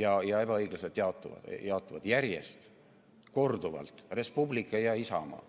ja ebaõiglaselt jaotunut – järjest, korduvalt, Res Publica ja Isamaa.